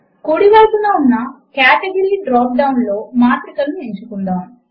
కుడి వైపున ఉన్న కేటగరీ డ్రాప్ డౌన్ లో మాత్రికలను ఎంచుకుందాము